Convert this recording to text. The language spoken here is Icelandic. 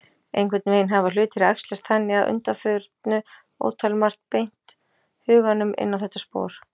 Einhvern veginn hafa hlutir æxlast þannig að undanförnu, ótalmargt beint huganum inn á þetta spor.